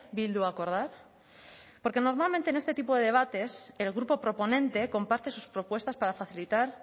bildu acordar porque normalmente en este tipo de debates el grupo proponente comparte sus propuestas para facilitar